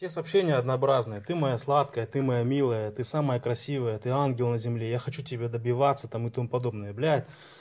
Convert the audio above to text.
сообщения однообразные ты моя сладкая ты моя милая ты самая красивая ты ангел на земле я хочу тебя добиваться там и тому подобное блять